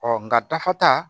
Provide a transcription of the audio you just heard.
Ɔ nka dafa ta